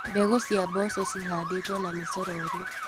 Mbegũ cia mboco cihandĩtwo na mĩcorori.